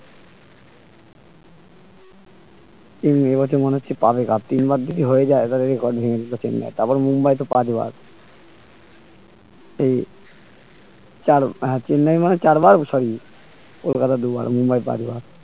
উম এইবছর মনে হচ্ছে পাবে cup তিনবার যদি হয়ে যায় এবারো record ভেঙ্গে দিবে চেন্নাই তারপর মুম্বাই তো পাঁচবার হুম চারো হ্যাঁ sorry তিনবার মানে চারবার কলকাতা দুবার মুম্বাই পাঁচবার